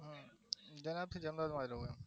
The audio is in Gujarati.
જન્મ અહિયાં મારો